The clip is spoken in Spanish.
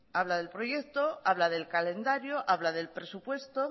habla del proyecto habla del calendario habla del presupuesto